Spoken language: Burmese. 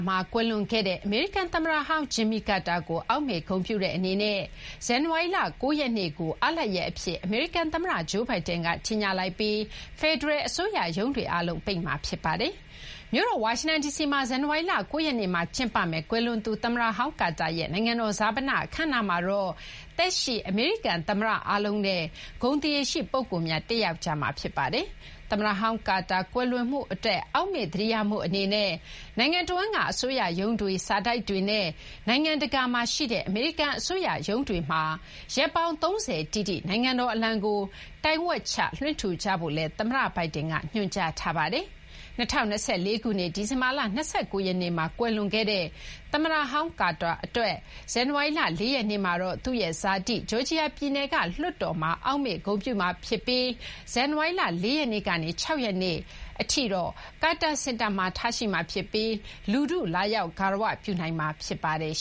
မှာ ကွယ်လွန်ခဲ့သူ အမေရိကန် သမ္မတဟောင်း Jimmy Carter ကို အောက်မေ့ဂုဏ်ပြုတဲ့ အနေနဲ့ ဇန်နဝါရီလ ၉ ရက်နေ့ကို အားလပ်ရပ် အဖြစ် အမေရိကန် သမ္မတ Joe Biden က ကြေညာလိုက်ပြီး ဖယ်ဒရယ် အစိုးရရုံးတွေ အားလုံး ပိတ်မှာ ဖြစ်ပါတယ်။ မြို့တော် ဝါရှင်တန် ဒီစီမှာ ဇန်နဝါရီလ ၉ ရက်နေ့ ကျင်းပမယ့် ကွယ်လွန်သူ သမ္မတဟောင်း ကာတာရဲ့ နိုင်ငံတော် ဈာပန အခမ်းအနားမှာတော့ သက်ရှိ အမေရိကန် သမ္မတအားလုံးနဲ့ ဂုဏ်သရေရှိ ပုဂ္ဂိုလ်များ တက်ရောက်ကြမှာ ဖြစ်ပါတယ်။ သမ္မတဟောင်း ကာတာ ကွယ်လွန်မှု အတွက် အောက်မေ့သတိရမှု အနေနဲ့ နိုင်ငံတဝန်းက အစိုးရရုံးတွေ၊ စာတိုက်တွေနဲ့ နိုင်ငံတကာမှာ ရှိတဲ့ အမေရိကန် အစိုးရ ရုံးတွေမှာ ရက်ပေါင်း ၃၀ တိတိ နိုင်ငံတော် အလံကို တိုင်ဝက်ချ လွှင့်ထူကြဖို့လည်း သမ္မတ Biden က ညွှန်ကြားထားပါတယ်။ ၂၀၂၄ ခုနှစ် ဒီဇင်ဘာလ ၂၉ ရက်နေ့မှာ ကွယ်လွန်ခဲ့တဲ့ သမ္မတဟောင်း ကာတာ အတွက် ဇန်နဝါရီလ ၄ ရက်နေ့မှာတော့ သူ့ရဲ့ ဇာတိ ဂျော်ဂျီယာ ပြည်နယ် လွှတ်တော်မှာ အောက်မေ့ဂုဏ်ပြုမှာ ဖြစ်ပြီး ဇန်နဝါရီလ ၄ ရက်နေ့ကနေ ၆ ရက်နေ့ အထိတော့ ကာတာ စင်တာမှာ ထားရှိမှာ ဖြစ်ပြီး လူထု လာရောက် ဂါရဝပြုနိုင်မှာ ဖြစ်ပါတယ်